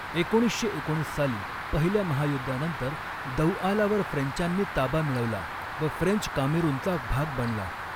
एकोणीसशे एकोणीस साली पहिल्या महायुद्धानंतर दौआलावर फ्रेंचांनी ताबा मिळवला व फ्रेंच कामेरूनचा भाग बणला.